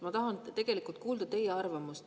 Ma tahan tegelikult kuulda teie arvamust.